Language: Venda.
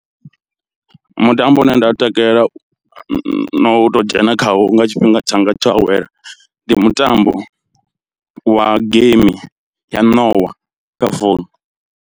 Mutambo une nda takalela no u to dzhena khawo nga tshifhinga tshanga tsho awela ndi mutambo wa game ya ṋowa kha founu.